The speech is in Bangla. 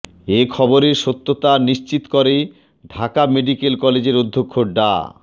এ খবরের সত্যতা নিশ্চিত করে ঢাকা মেডিকেল কলেজের অধ্যক্ষ ডা